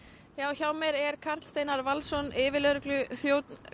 hjá mér er Karl Steinar Valsson yfirlögregluþjónn